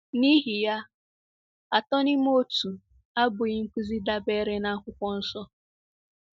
N’ihi ya, Atọ n’Ime Otu abụghị nkụzi dabeere n’Akwụkwọ Nsọ.